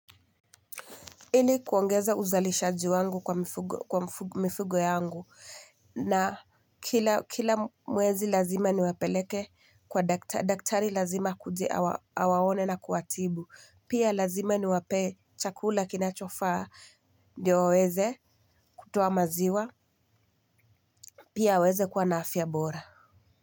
Ili kuongeza uzalishaji wangu kwa mifugo yangu na kila mwezi lazima niwapeleke kwa daktari lazima akuje awaone na kuwatibu. Pia lazima niwapee chakula kinachofaa ndio waweze kutoa maziwa. Pia aweze kuwa na afya bora.